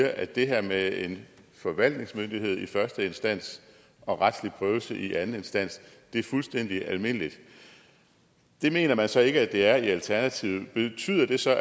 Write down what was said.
at det her med en forvaltningsmyndighed i første instans og retslig prøvelse i anden instans er fuldstændig almindeligt det mener man så ikke at det er i alternativet betyder det så